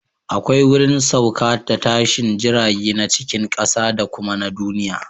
Akwai wurin sauka da tashin jirage na cikin ƙasa da kuma na duniya